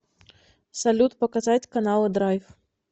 салют показать каналы драйв